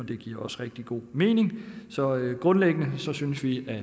det giver også rigtig god mening så grundlæggende synes vi at